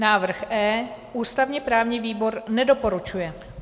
Návrh E ústavně právní výbor nedoporučuje.